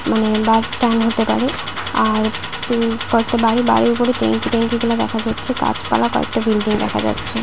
উম- bus stand হতে পারে আর হু- কয়টা বাড়ি বাড়ির উপরে ট্যাংক - ই ট্যাংক - ই গুলো দেখা যাচ্ছে গাছপালা কয়েকটা বিল্ডিং দেখা যাচ্ছে ।